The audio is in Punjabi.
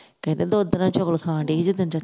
ਕਹਿੰਦਾ ਦੁਧ ਦੇ ਨਾਲ ਚੌਲ ਖਾਣ ਡਈ ਸੀ ਜਿਸ ਦਿਨ